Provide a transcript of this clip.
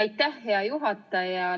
Aitäh, hea juhataja!